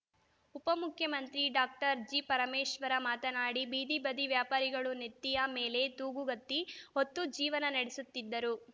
ಉಪಮುಖ್ಯಮಂತ್ರಿ ಡಾಕ್ಟರ್ ಜಿಪರಮೇಶ್ವರ್‌ ಮಾತನಾಡಿ ಬೀದಿ ಬದಿ ವ್ಯಾಪಾರಿಗಳು ನೆತ್ತಿಯ ಮೇಲೆ ತೂಗುಗತ್ತಿ ಹೊತ್ತು ಜೀವನ ನಡೆಸುತ್ತಿದ್ದರು